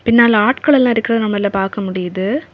பின்னால ஆட்களெல்லாம் இருக்கிறத நம்மனால பார்க்க முடியுது.